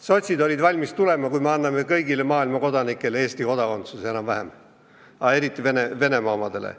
Sotsid olid valmis toetama, kui me anname enam-vähem kõigile kodanikele üle maailma Eesti kodakondsuse, aga eriti Venemaa omadele.